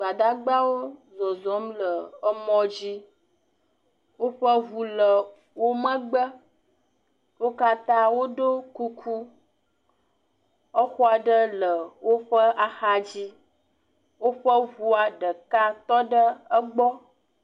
Gbadagbawo zɔzɔm le emɔ dzi. Woƒe ŋu le wo megbe, wo kata wo ɖɔ kuku, exɔ aɖe le woƒe axa dzi, woƒe ŋu ɖeka tɔ emɔ dzi.